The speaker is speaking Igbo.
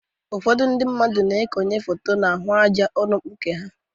Ụfọdụ ndị mmadụ na-ekonye foto n'ahụ àjá ụlọ mkpuke ha.